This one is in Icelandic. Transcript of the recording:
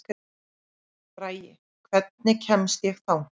Bragi, hvernig kemst ég þangað?